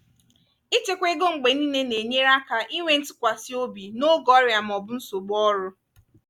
ịchekwa ego mgbe niile na-enyere aka inwe ntụkwasị obi n'oge ọrịa ma ọ bụ nsogbu ọrụ.